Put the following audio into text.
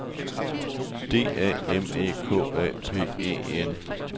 D A M E K A M P E N